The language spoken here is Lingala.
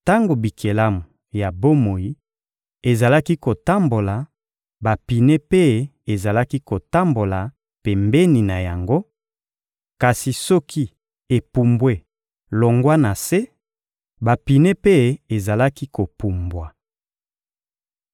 Tango bikelamu ya bomoi ezalaki kotambola, bapine mpe ezalaki kotambola pembeni na yango; kasi soki epumbwe longwa na se, bapine mpe ezalaki kopumbwa.